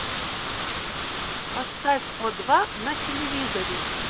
поставь о два на телевизоре